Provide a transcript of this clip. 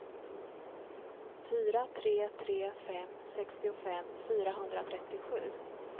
fyra tre tre fem sextiofem fyrahundratrettiosju